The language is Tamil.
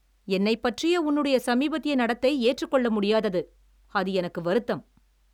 என்னைப் பற்றிய உன்னுடைய சமீபத்திய நடத்தை ஏற்றுக்கொள்ள முடியாதது. அது எனக்கு வருத்தம்.